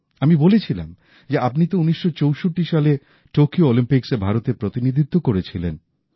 আমি বলেছিলাম যে আপনি তো ১৯৬৪ সালে টোকিও অলিম্পিক্সে ভারতের প্রতিনিধিত্ব করেছিলেন